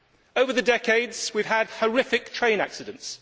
Over the decades we have had horrific train accidents